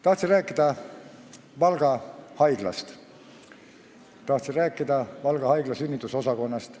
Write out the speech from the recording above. Tahtsin rääkida Valga haiglast, tahtsin rääkida Valga haigla sünnitusosakonnast.